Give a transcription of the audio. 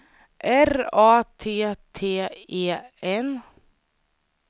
R A T T E N